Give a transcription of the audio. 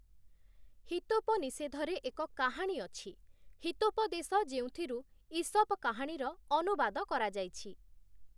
ହିତୋପନିଷେଧରେ ଏକ କାହାଣୀ ଅଛି, ' ହିତୋପଦେଶ' ଯେଉଁଥିରୁ ଈସପ କାହାଣୀର ଅନୁବାଦ କରାଯାଇଛି ।